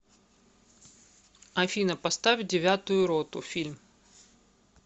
афина поставь девятую роту фильм